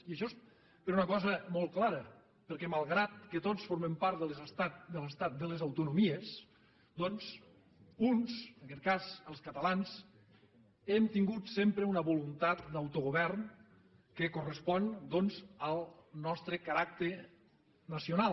i això és per una cosa molt clara perquè malgrat que tots formem part de l’estat de les autonomies doncs uns en aquest cas els catalans hem tingut sempre una voluntat d’autogovern que correspon al nostre caràcter nacional